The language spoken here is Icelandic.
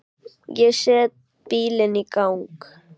Ég set bílinn í gang.